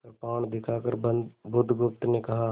कृपाण दिखाकर बुधगुप्त ने कहा